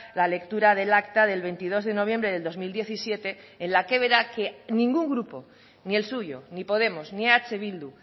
la lectura del acta del veintidós de noviembre del dos mil diecisiete en la que verá que ningún grupo ni el suyo ni podemos ni eh bildu